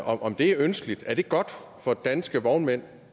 og om det er ønskeligt er det godt for danske vognmænd